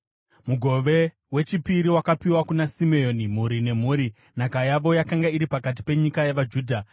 Mugove wechipiri wakapiwa kuna Simeoni, mhuri nemhuri. Nhaka yavo yakanga iri pakati penyika yavaJudha.